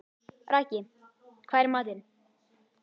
Raggi, hvað er í matinn?